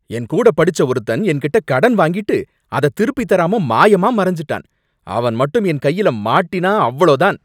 என் கூட படிச்ச ஒருத்தன் என்கிட்ட கடன் வாங்கிட்டு அத திருப்பித் தராம மாயமா மறஞ்சுட்டான், அவன் மட்டும் என் கையில மாட்டினா அவ்ளோதான்.